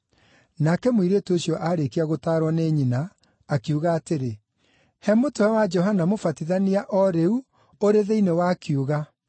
Nake mũirĩtu ũcio aarĩkia gũtaarwo nĩ nyina, akiuga atĩrĩ, “He mũtwe wa Johana Mũbatithania o rĩu ũrĩ thĩinĩ wa kiuga.”